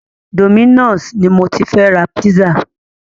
Dominos ni mo ti fẹ́ ra pizza.